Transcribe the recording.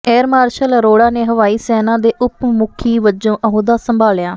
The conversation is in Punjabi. ਏਅਰ ਮਾਰਸ਼ਲ ਅਰੋੜਾ ਨੇ ਹਵਾਈ ਸੈਨਾ ਦੇ ਉਪ ਮੁਖੀ ਵਜੋਂ ਅਹੁਦਾ ਸੰਭਾਲਿਆ